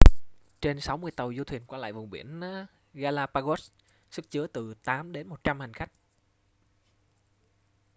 trên 60 tàu du thuyền qua lại vùng biển galapagos sức chứa từ 8 đến 100 hành khách